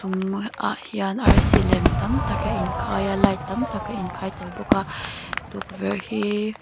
mah ah hian arsi lem tam tak a in khai a light tam tak a in khai tel bawk a tukverh hi--